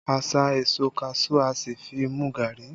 A sá èso kaṣuú, a sì fi mu gari